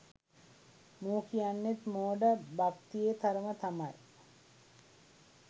මු කියන්නෙත් මෝඩ භක්තියේ තරම තමයි